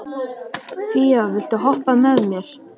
Fía, viltu hoppa með mér?